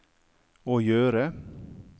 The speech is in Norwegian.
å gjøre